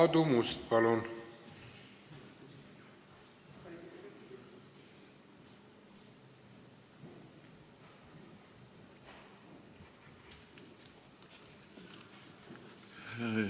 Aadu Must, palun!